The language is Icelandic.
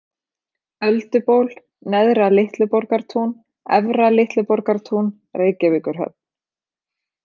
Ölduból, Neðra-Litluborgartún, Efra-Litluborgartún, Reykjavíkurhöfn